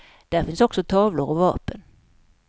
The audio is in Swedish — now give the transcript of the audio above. Där finns också tavlor och vapen.